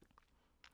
DR K